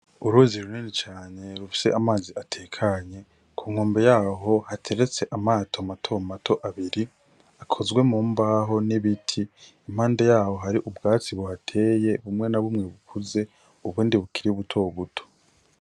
Uruzi runini rufise amazi atekanye ku nkombe yaho hateretse amato mato mato abiri akozwe mu mbaho n'ibiti impande yaho hari ubwatsi buhateye bumwe n'abumwe bukuze ubundi bukiri buto buto.